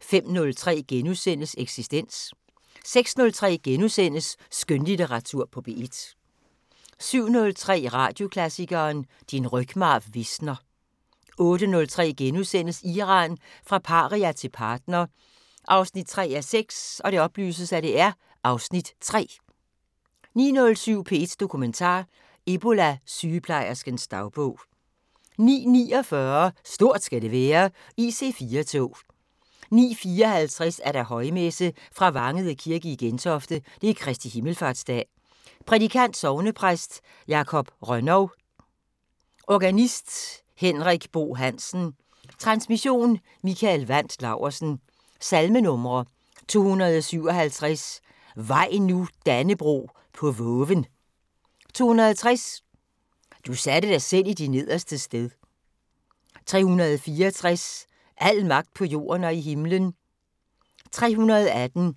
05:03: Eksistens * 06:03: Skønlitteratur på P1 * 07:03: Radioklassikeren: Din rygmarv visner 08:03: Iran – fra paria til partner 3:6 (Afs. 3)* 09:07: P1 Dokumentar: Ebola-sygeplejerskens dagbog 09:49: Stort skal det være: IC4-tog 09:54: Højmesse - Fra Vangede kirke i Gentofte. Kristi himmelfartsdag. Prædikant: Sognepræst Jakob Rönnow. Organist: Henrik Bo Hansen. Transmission: Mikael Wandt Laursen. Salmenumre: 257: "Vaj nu, Dannebrog, på voven". 260: "Du satte dig selv i de nederstes sted". 364: "Al magt på jorden og i himlen". 318: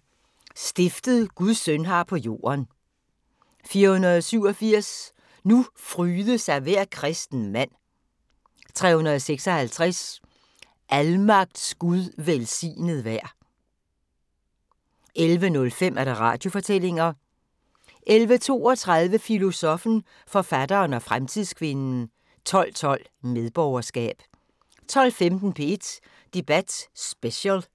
"Stiftet Guds søn har på jorden". 487: "Nu fryde sig hver kristen mand". 356: "Almagts Gud velsignet vær". 11:05: Radiofortællinger 11:32: Filosoffen, forfatteren og fremtidskvinden 12:12: Medborgerskab 12:15: P1 Debat Special